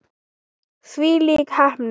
Þvílík heppni.